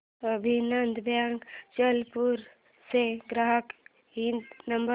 अभिनंदन बँक अचलपूर चा ग्राहक हित नंबर